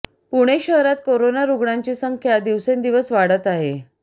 पुणे शहरात कोरोना रुग्णांची संख्या दिवसेंदिवस वाढत आहे